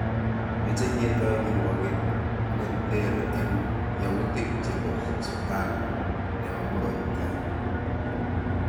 Meche ketoi kirwoget ne ter eng yautik chebo Sutan nebo murot tai